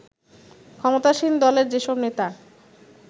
ক্ষমতাসীন দলের যেসব নেতা